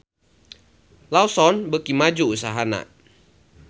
Lawson beuki maju usahana